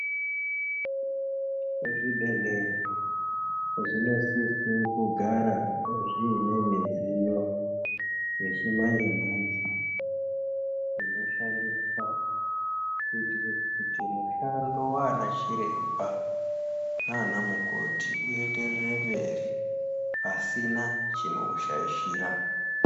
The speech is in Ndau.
Zvibhedhlera zvinosise kugara zviine midziyo yechimanje-manje inoshandiswa kuitire kuti mushando wana chiremba nana mukoti uenderere mberi pasina chinoushaishira.